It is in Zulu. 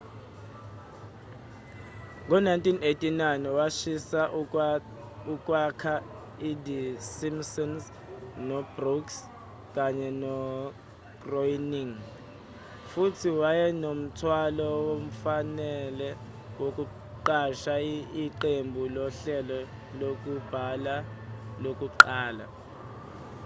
ngo-1989 wasiza ukwakha i-the simpsons no-brooks kanye no-groening futhi wayenomthwalo wemfanelo wokuqasha iqembu lohlelo lokubhala lokuqala